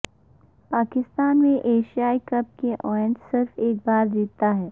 پاکستان نے Asia Cup کا event صرف ایک بار جیتا ہے